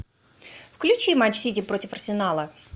включи матч сити против арсенала